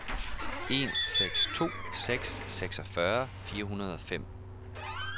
en seks to seks seksogfyrre fire hundrede og fem